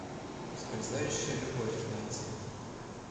ускользающая любовь найти